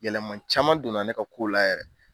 Yɛlɛma caman donna ne ka ko la yɛrɛ.